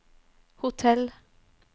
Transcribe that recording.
hotell